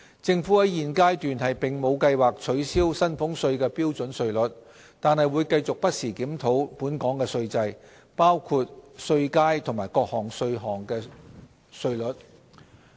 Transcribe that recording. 政府在現階段並無計劃取消薪俸稅的標準稅率，但會繼續不時檢討本港的稅制，包括稅階及各種稅項的稅率。